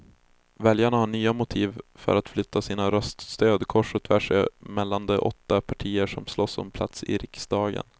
Väljarna har nya motiv för att flytta sitt röststöd kors och tvärs mellan de åtta partier som slåss om plats i riksdagen.